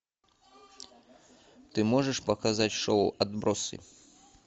ты можешь показать шоу отбросы